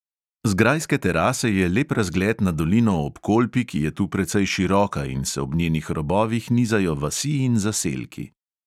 Z grajske terase je lep razgled na dolino ob kolpi, ki je tu precej široka in se po njenih robovih nizajo vasi in zaselki.